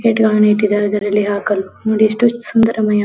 ಗೇಟುಗಳನ್ನು ಇಟ್ಟಿದ್ದಾರೆ ಅದರಲ್ಲಿ ಹಾಕಲು ನೋಡಿ ಎಷ್ಟು ಸುಂದರಮಯ --